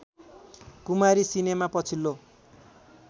कुमारी cinema पछिल्लो